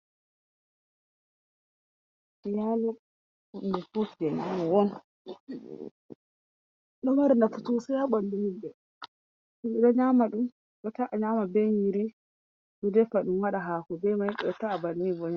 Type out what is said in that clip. Nyaloo. Hunɗe ɗo mari nafu' sosai ha banɗu himbe. Himbe ɗo nyama dum. Ɗota'a nyaama be nyiri. Ɗo defaɗun waɗa haku be mai ta'a banni .